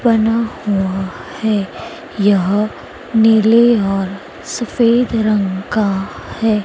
बना हुआ है यह नीले और सफेद रंग का है।